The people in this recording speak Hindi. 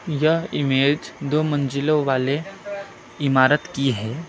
यह इमेज दो मंजिलों वाले इमारत की है।